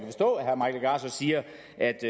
at